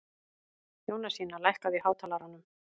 Jónasína, lækkaðu í hátalaranum.